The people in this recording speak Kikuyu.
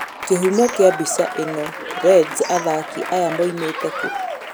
Kĩhumo kĩa mbica ĩno, Reds athaki aya moimĩte kũ?